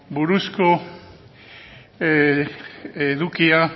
buruzko edukia